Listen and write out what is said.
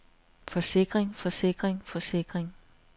forsikring forsikring forsikring